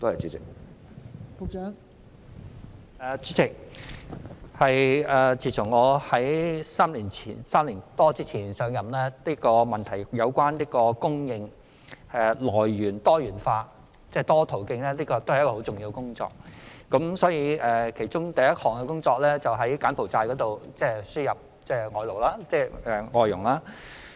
代理主席，我在3年多前上任時，明白外傭供應來源多元化是十分重要的工作，因而我第一項工作是從柬埔寨輸入外傭。